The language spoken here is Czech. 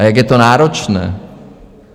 A jak je to náročné!